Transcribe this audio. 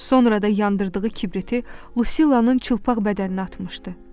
Sonra da yandırdığı kibriti Lucilanın çılpaq bədəninə atmışdı.